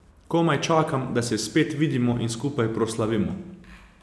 Komaj čakam, da se spet vidimo in skupaj proslavimo.